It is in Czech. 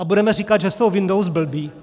A budeme říkat, že jsou Windows blbé?